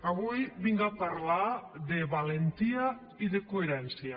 avui vinc a parlar de valentia i de coherència